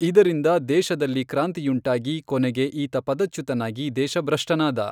ಇದರಿಂದ ದೇಶದಲ್ಲಿ ಕ್ರಾಂತಿಯುಂಟಾಗಿ ಕೊನೆಗೆ ಈತ ಪದಚ್ಯುತನಾಗಿ ದೇಶಭ್ರಷ್ಠನಾದ.